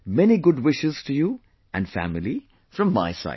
Many good wishes to you and family from my side